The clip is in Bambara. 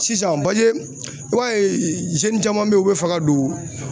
Sisan paseke i b'a ye caman bɛ yen u bɛ fɛ ka don